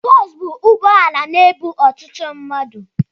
Boosu bụ ụgbọala na-ebu ọtụtụ mmadu